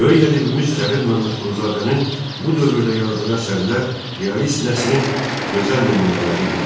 Böyük ədibimiz Cəlil Məmmədquluzadənin bu dövrdə yazdığı əsərlər realist nəsrinin gözəl nümunələri idi.